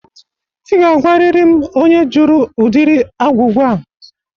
Ị ga-agwarịrị m onye jụrụ ụdịrị agwụgwụ a